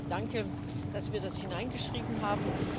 Deswegen Danke, dass wir das hineingeschrieben haben.